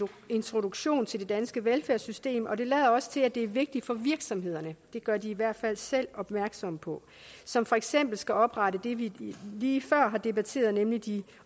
introduktion til det danske velfærdssystem og det lader også til at det er vigtigt for virksomhederne det gør de i hvert fald selv opmærksom på som for eksempel skal oprette det vi lige før har debatteret nemlig de